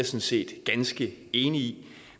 set ganske enig i